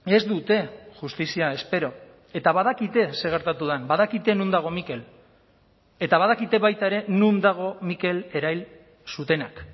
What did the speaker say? ez dute justizia espero eta badakite zer gertatu den badakite non dago mikel eta badakite baita ere non dago mikel erail zutenak